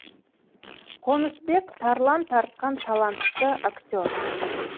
қонысбек тарлан тартқан талантты актер